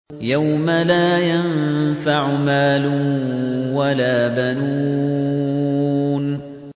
يَوْمَ لَا يَنفَعُ مَالٌ وَلَا بَنُونَ